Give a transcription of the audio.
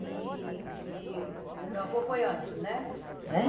e que o meu avô foi antes, né?